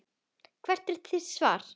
Hvert er þitt svar?